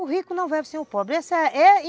O rico não vive sem o pobre